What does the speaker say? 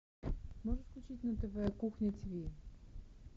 можешь включить на тв кухня ти ви